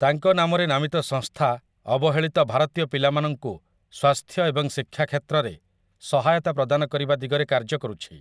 ତାଙ୍କ ନାମରେ ନାମିତ ସଂସ୍ଥା ଅବହେଳିତ ଭାରତୀୟ ପିଲାମାନଙ୍କୁ ସ୍ୱାସ୍ଥ୍ୟ ଏବଂ ଶିକ୍ଷା କ୍ଷେତ୍ରରେ ରେ ସହାୟତା ପ୍ରଦାନ କରିବା ଦିଗରେ କାର୍ଯ୍ୟ କରୁଛି ।